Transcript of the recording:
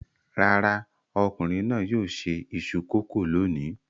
Rárá, ọkùnrin náà yóò se iṣu kòkó lónìí.